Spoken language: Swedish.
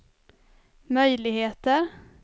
möjligheter